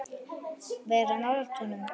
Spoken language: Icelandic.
Vera nálægt honum?